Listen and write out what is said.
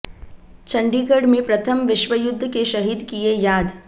चंडीगढ़ में प्रथम विश्व युद्ध के शहीद किए याद